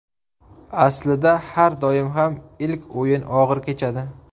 Aslida har doim ham ilk o‘yin og‘ir kechadi.